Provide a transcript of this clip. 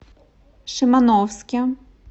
шимановске